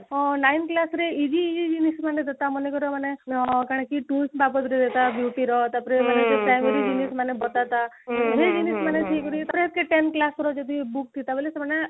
ହଁ nine class ରେ easy easy ଜିନିଷ ମାନେ ଦେନ୍ତା ମନେକର ମାନେ tools ରେ ବାବଦରେ ତା beauty ର ତାପରେ ମାନେ ତାପରେ primary ଜିନିଷ ମାନେ ବତାନ୍ତା ସେଇ ଜିନିଷ ମାନେ ଠିକ କରି ten class ର ଯଦି book ରେ ଥାନ୍ତା ବୋଲେ ସେମାନେ